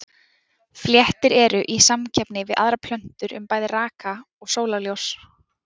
Fléttur eru í samkeppni við aðrar plöntur um bæði raka og sólarljós.